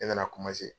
Ne nana